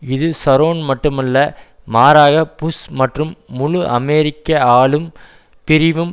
இது ஷரோன் மட்டுமல்ல மாறாக புஷ் மற்றும் முழு அமெரிக்க ஆழும் பிரிவும்